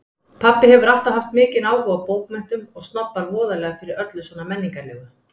Pabbi hefur alltaf haft mikinn áhuga á bókmenntum og snobbar voðalega fyrir öllu svona menningarlegu.